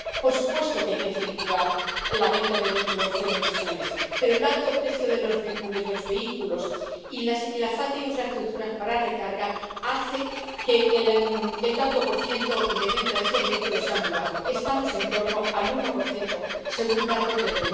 Por supuesto que hay que incentivar la venta de vehículos de cero emisiones, pero el alto precio de los vehículos y la falta de infraestructuras de recarga hace que el tanto por ciento de ventas de estos vehículos sea muy bajo estamos en torno al 1 según datos de